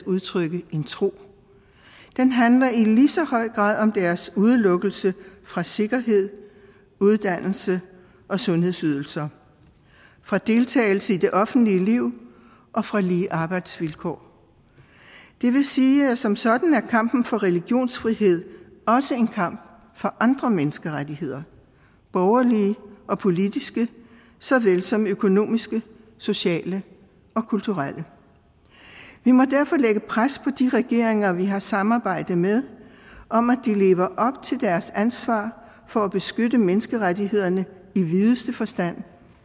udtrykke en tro den handler lige så høj grad om deres udelukkelse fra sikkerhed uddannelse og sundhedsydelser fra deltagelse i det offentlige liv og fra lige arbejdsvilkår det vil sige at som sådan er kampen for religionsfrihed også en kamp for andre menneskerettigheder borgerlige og politiske såvel som økonomiske sociale og kulturelle vi må derfor lægge pres på de regeringer vi har samarbejde med om at de lever op til deres ansvar for at beskytte menneskerettighederne i videste forstand